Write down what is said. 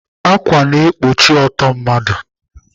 Ákwà na-ekpuchi ọtọ mmadụ.